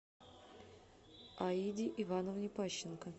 аиде ивановне пащенко